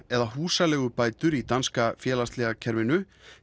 eða húsaleigubætur í danska félagslega kerfinu